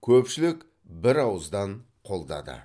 көпшілік бір ауыздан қолдады